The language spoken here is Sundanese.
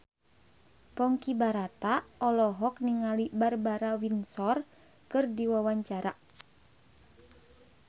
Ponky Brata olohok ningali Barbara Windsor keur diwawancara